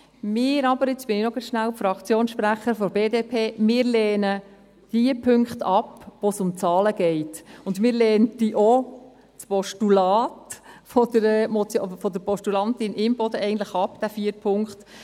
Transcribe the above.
Wir lehnen aber – jetzt bin ich noch rasch die Fraktionssprecherin der BDP – jene Punkte ab, in denen es um Zahlen geht, und eigentlich würden wir auch das Postulat der Postulantin Imboden ablehnen mit diesem vierten Punkt.